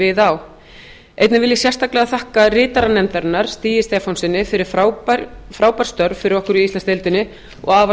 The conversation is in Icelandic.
við á einnig vil ég sérstaklega þakka ritara nefndarinnar stíg stefánssyni fyrir frábær störf fyrir okkur í íslandsdeildinni og afar